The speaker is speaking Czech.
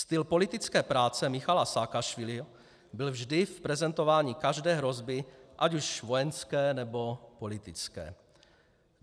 Styl politické práce Michaila Saakašviliho byl vždy v prezentování každé hrozby, ať už vojenské, nebo politické.